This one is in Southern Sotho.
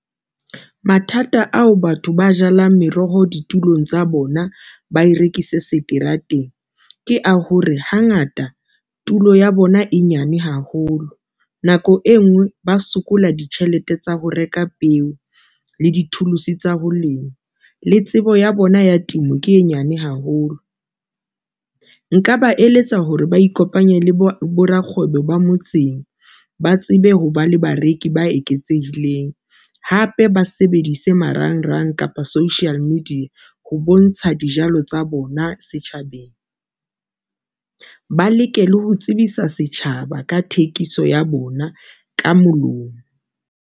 Mathata ao batho ba jalang meroho ditulong tsa bona ba e rekise seterateng, ke a hore hangata tulo ya bona e nyane haholo nako e ngwe, ba sokola ditjhelete tsa ho reka peo le di-tools tsa ho lema le tsebo ya bona ya temo ke e nyane haholo. Nka ba eletsa hore ba ikopanye le bo rakgwebo ba motseng ba tsebe ho ba le bareki ba eketsehileng, hape ba sebedise marangrang kapa social media ho bontsha dijalo tsa bona setjhabeng, ba leke le ho tsebisa setjhaba ka thekiso ya bona ka molomo.